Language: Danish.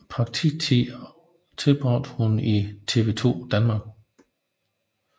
Praktiktiden tilbragte hun på TV Danmark